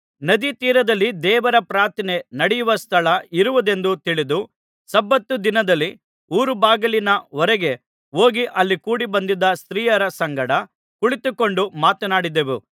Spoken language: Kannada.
ನದೀತೀರದಲ್ಲಿ ದೇವರ ಪ್ರಾರ್ಥನೆ ನಡೆಯುವ ಸ್ಥಳ ಇರುವುದೆಂದು ತಿಳಿದು ಸಬ್ಬತ್ ದಿನದಲ್ಲಿ ಊರ ಬಾಗಿಲಿನ ಹೊರಗೆ ಹೋಗಿ ಅಲ್ಲಿ ಕೂಡಿಬಂದಿದ್ದ ಸ್ತ್ರೀಯರ ಸಂಗಡ ಕುಳಿತುಕೊಂಡು ಮಾತನಾಡಿದೆವು